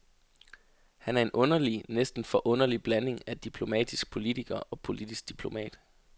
Han er en underlig, næsten forunderlig blanding af diplomatisk politiker og politisk diplomat.